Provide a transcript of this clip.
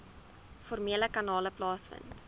formele kanale plaasvind